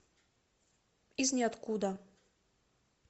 из неоткуда